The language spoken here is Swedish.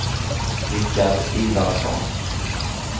Rickard Ivarsson